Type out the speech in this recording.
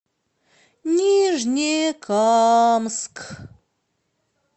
нижнекамск